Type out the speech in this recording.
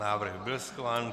Návrh byl schválen.